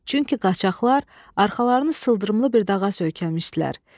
Çünki qaçaqlar arxalarını sıldırımlı bir dağa söykəmişdilər.